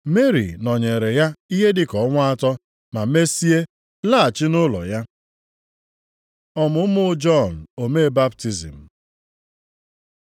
Meri nọnyeere ya ihe dịka ọnwa atọ ma mesie laghachi nʼụlọ ya. Ọmụmụ Jọn omee baptizim